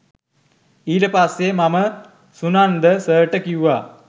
ඊට පස්සේ මම සුනන්ද සර්ට කිව්වා